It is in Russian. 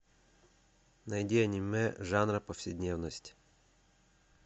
найди аниме жанра повседневность